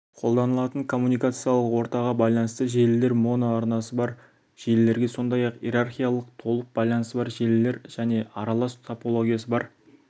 қолданылатын коммуникациялық ортаға байланысты желілер моноарнасы бар желілерге сондай-ақ иерархиялық толық байланысы бар желілер және аралас топологиясы бар